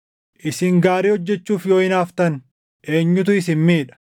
Isin gaarii hojjechuuf yoo hinaaftan, eenyutu isin miidha?